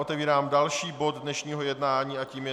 Otevírám další bod dnešního jednání a tím je